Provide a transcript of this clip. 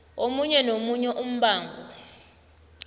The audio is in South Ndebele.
omunye nomunye umbango